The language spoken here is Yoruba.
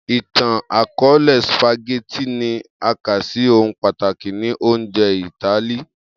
Itan-akọọlẹ, spaghetti ni a ka si ohun pataki ni ounjẹ Itali.